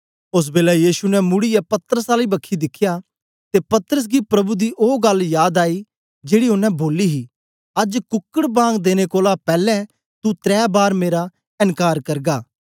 ओस बेलै यीशु ने मुड़ीयै पतरस आली बखी दिखया ते पतरस गी प्रभु दी ओ गल्ल याद आई जेड़ी ओनें बोली ही अज्ज कुकड बांग देने कोलां पैलैं तू त्रै बार मेरा एन्कार करगा